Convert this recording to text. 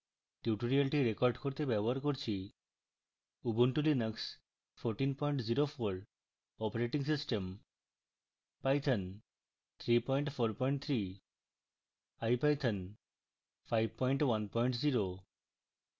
tutorial record করতে ব্যবহার করছি: